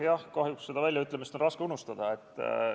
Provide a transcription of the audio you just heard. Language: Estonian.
Jah, kahjuks on seda väljaütlemist raske unustada.